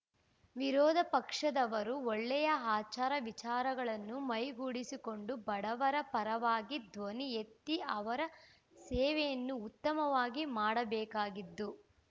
ವಿರೋಧ ಪಕ್ಷದವರು ಒಳ್ಳೆಯ ಆಚಾರವಿಚಾರಗಳನ್ನು ಮೈಗೂಡಿಸಿಕೊಂಡು ಬಡವರ ಪರವಾಗಿ ಧ್ವನಿ ಎತ್ತಿ ಅವರ ಸೇವೆಯನ್ನು ಉತ್ತಮವಾಗಿ ಮಾಡಬೇಕಾಗಿದ್ದು